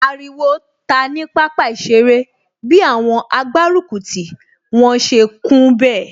Ariwo ta ní pápá ìṣeré bi àwọn agbárùkùtì wọn ṣe kún bẹ̀